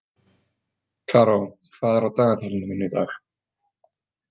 Karó, hvað er á dagatalinu mínu í dag?